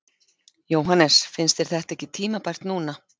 Jóhannes: Finnst þér þetta ekki tímabært núna?